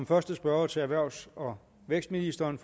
første spørger til erhvervs og vækstministeren